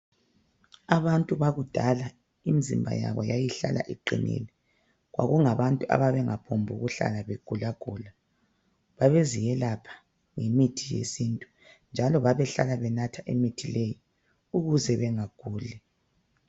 Abantu bakudala imizimba yabo yayihlala iqinile kwakungabantu ababengaphokuhlala begula gula. Babeziyepha ngemithi yesintu, njalo bebehlala benatha imithi leyi ukuze bengaguli.